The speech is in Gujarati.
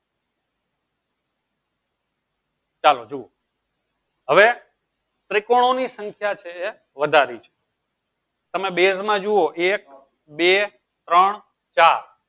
ચાલો જુવો હવે ત્રિકોણ ની સંખ્યા છે વધારી તમે base માં જુવો એક બે ત્રણ ચાર